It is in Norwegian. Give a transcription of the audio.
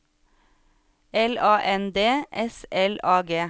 L A N D S L A G